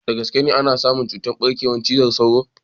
Da gaske an samu ɓarkewar cutar cizon sauro?